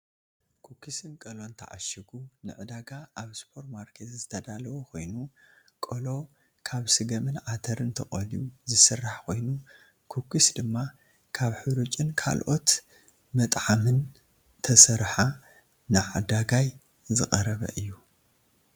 ኩኩስን ቆሎን ተዓሽጉ ንዕዳጋ ኣብ ሱፖርማርኬት ዝተዳለወ ኮይኑ ቆሎ ካብ ስገምን ዓተርን ተቆልዩ ዝስራሕ ኮይኑ ኩኩስ ድማ ካብ ሑሩጭን ካልኦት መጥዓምን ተሰረሓ ንዓዳጋይ ዝቀረበ እዩ።